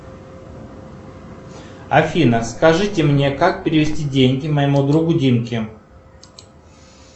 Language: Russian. афина скажите мне как перевести деньги моему другу димке